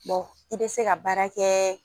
Bɔn i be se ka baara kɛɛ